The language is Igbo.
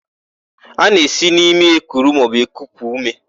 A na-esi n'imi ekuru maọbụ ekupu úmé.